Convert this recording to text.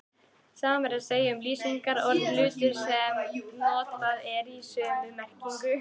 Sama er að segja um lýsingarorðið hultur sem notað er í sömu merkingu.